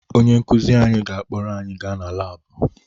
Onye nkụzi anyị ga-akpọrọ anyị gaa na laabụ